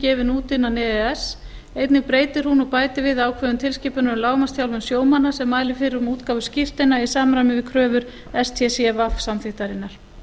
gefin út innan e e s einnig breytir hún og bætir við ákvæðum tilskipunar um lágmarksþjálfun sjómanna sem mælir fyrir um útgáfu skírteina í samræmi við kröfur stcw samþykktarinnar